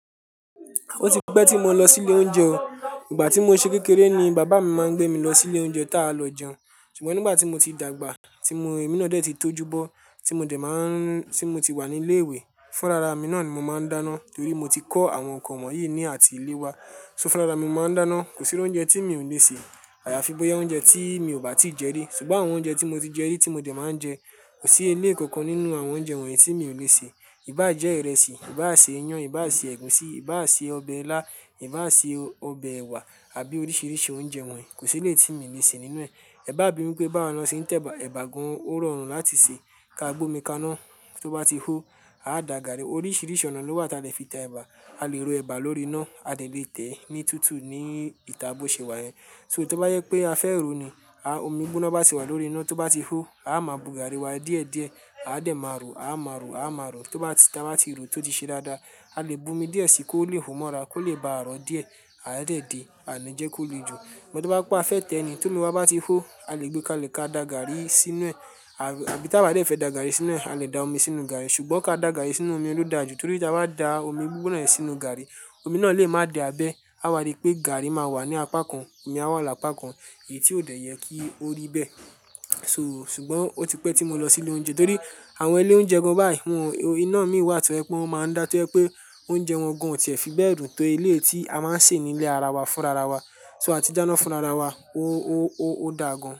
Ó ti pẹ́ tí mo lọ sí ilé oúnjẹ. Ìgbà tí mo ṣe kékeré ni bàbá mi máa ń gbé mi lọ sí ilé oúnjẹ tá a lọ jẹun. Ṣùgbọ́n nígbà tí mo ti dàgbà, tí mo, ẹmí náà dẹ́ẹ̀ tí tó júbọ, tí mo dẹ̀ máa ń, tí mo ti wà ní ilé ìwé, fúnra ra ẹmí náà ni mo máa ń dáná torí mo ti kọ́ àwọn nǹkan wọ̀nyí ní àti ilé wa. So fúnra ramí mo máa ń dáná. Kò sí oúnjẹ tí mi ò le ṣe. Àyàfi bóyá oúnjẹ tí mi ò bá tíì jẹ rí. Ṣùgbọ́n àwọn oúnjẹ tí mo ti jẹ rí tí mo dẹ̀ máa ń jẹ, kò sí ẹlẹ́ẹ̀kọ̀kan nínú àwọn oúnjẹ wọ̀nyí tí mi ò le ṣe. Ìbá jẹ ìrẹsì, ìbá ṣe iyán, ìbá ṣe ẹ̀gúsí, ìbá ṣe ọbẹ̀ ilá, ìbá ṣe ọbẹ̀ ẹ̀wà àbí oríṣiríṣi oúnjẹ wọ̀nyí kò sí léétì tí mi ò le ṣe nínú ẹ̀. Ẹ bá bímọ pé bá wọ́n lọ sin tẹ̀bà, ẹ̀bà gan-an ó rọrùn láti ṣe. Ka gbé omi kaná, tó bá ti hó, a dà gàrí. Oríṣiríṣi ọ̀nà ló wà tí a lè fi tẹ ẹ̀bà. A lè rò ẹ̀bà lórí iná, a lè tẹ̀ ẹ́ ní tútù, ní ìta bọ́ṣe wa yẹn. So tó bá yẹ pé a fẹ́ rò nìí, omi gbóná bá ti wà lórí iná tó bá ti hó, a máa bu gàrí wa díẹ̀díẹ̀, a dẹ̀ máa rò, a máa rò, a máa rò. Tó bá ti, tí a bá ti rò tó ti ṣe dáadáa, a lè bu omi díẹ̀ síi kó le hù mọ́ra, kó lè ba à ró díẹ̀, a dẹẹ de, a nii jẹ́ kó le jù. Ṣùgbọ́n tó bá pé a fẹ́ tẹ̀ ẹ́ nìí, tó ní wọ́n bá ti hó, a lè gbé ka lè ka dà gàrí sínú ẹ̀. Àbí tí a bá jẹ̀ fẹ́ dà gàrí sínú ẹ̀, a lè da omi sínú gàrí. Ṣùgbọ́n ka dà gàrí sínú omi ló dáa jù torí tí a bá da omi gbígbóná yẹn sínú gàrí, omi náà lè má di abẹ́. A wàrí pé gàrí máa wà ní apá kan, omi a wà ní apá kan, èyí tí ò dẹ̀ yẹ kí ó rí bẹ́ẹ̀. So ṣùgbọ́n ó ti pẹ́ tí mo lọ sí ilé oúnjẹ torí àwọn ilé oúnjẹ gan báyìí wọ́n, iná mi wà tó ẹ pé wọ́n máa ń dá tó ẹ pé oúnjẹ wọn gan ò ti a fi bẹ́ dùn tó ẹlẹ́yìí tí a máa ń sè ní ilé ara wa fúnra ra wa. So a ti dáná fúnra ra wa. Ó, ó, ó, ó dà gan-an.